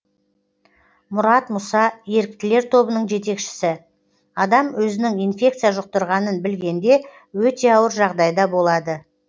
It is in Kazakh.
мұрат мұса еріктілер тобының жетекшісі адам өзінің инфекция жұқтырғанын білгенде өте ауыр жағдайда болады